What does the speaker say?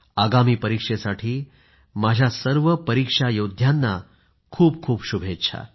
आगामी परीक्षेसाठी माझ्या सर्व परीक्षा योद्ध्यांना खूप खूप शुभेच्छा